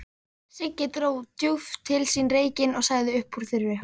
Siggi dró djúpt til sín reykinn og sagði uppúr þurru